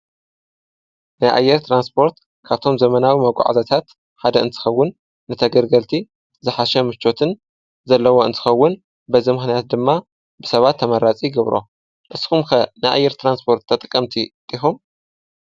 ናይ ኣየር ትራንስፖርት ካብቶም ዘመናዊ መጓዕዝያታት ሓደ እንትኸውን ንተገልገልቲ ዝሓሸ ምቾትን ዘለዎ እንትኸውን በዚ ምክንያት ድማ ብሰባት ተመራፂ ይገብሮ ።ንስኩም ከ ናይ ኣየር ትራንስፖርት ተጠቀምቲ ዲኩም?